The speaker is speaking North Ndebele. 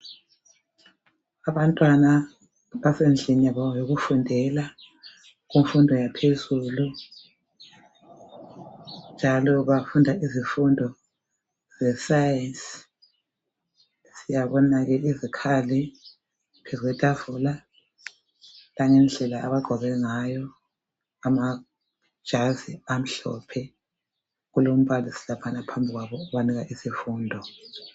Abantwana abasendlini yabo yokufundela kumfundo yaphezulu njalo bafunda izifundo zesayenzi siyabona izikhali phezu kwetafula siyabona indlela abagqoke ngayo amajazi elimhlophe kulombalisi wabo obapha isifundo